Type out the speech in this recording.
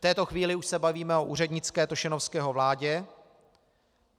V této chvíli už se bavíme o úřednické Tošenovského vládě.